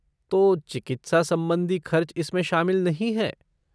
तो चिकित्सा संबंधी खर्च इसमें शामिल नहीं हैं?